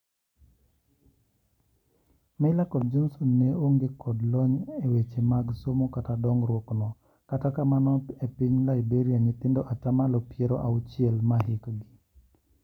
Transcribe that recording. Meyler kod Johnson ne onge kod lony e weche mag somo kata dongruok ,no kata kamano epiny Liberia nyithindo atamalo piero auchiel ma hikgi